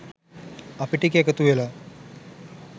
අපි ටික එකතු වෙලා